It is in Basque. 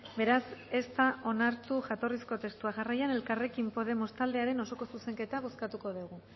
beraz ez da onartu jatorrizko testua jarraian elkarrekin podemos taldearen osoko zuzenketa bozkatuko dugu